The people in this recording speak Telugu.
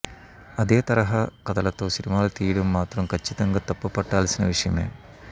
అదే తరహా కథలతో సినిమాలు తీయడం మాత్రం కచ్చితంగా తప్పుపట్టాల్సిన విషయమే